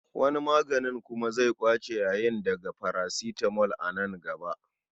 Wani maganin kuma zai ƙwace yayin daga parasitamo a nan gaba.